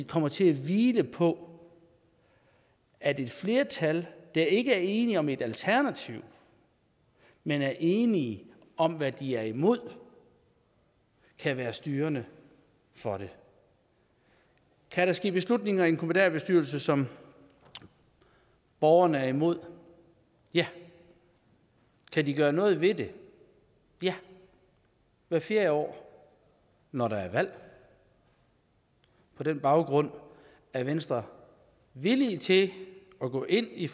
kommer til at hvile på at et flertal der ikke er enige om et alternativ men er enige om hvad de er imod kan være styrende for det kan der ske beslutninger i en kommunalbestyrelse som borgerne er imod ja kan de gøre noget ved det ja hvert fjerde år når der er valg på den baggrund er venstre villige til at gå ind i